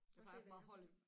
Jeg plejer at få meget hold i